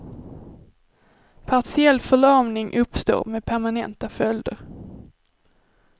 Partiell förlamning uppstår, med permanenta följder.